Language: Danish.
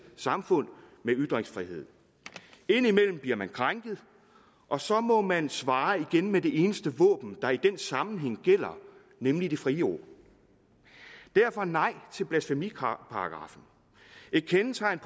samfund med ytringsfrihed indimellem bliver man krænket og så må man svare igen med det eneste våben der i den sammenhæng gælder nemlig det frie ord derfor nej til blasfemiparagraffen et kendetegn